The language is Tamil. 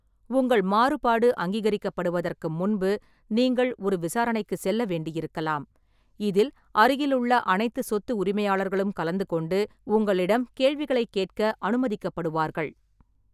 உங்கள் மாறுபாடு அங்கீகரிக்கப்படுவதற்கு முன்பு நீங்கள் ஒரு விசாரணைக்குச் செல்ல வேண்டியிருக்கலாம், இதில் அருகிலுள்ள அனைத்து சொத்து உரிமையாளர்களும் கலந்து கொண்டு உங்களிடம் கேள்விகளைக் கேட்க அனுமதிக்கப்படுவார்கள்.